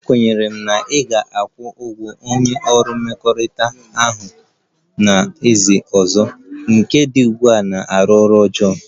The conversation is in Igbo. Ekwenyere m na ị ga-akwụ ụgwọ onye ọrụ mmekọrịta ọha na eze ọzọ, nke dị ugbu a na-arụ ọrụ ọjọọ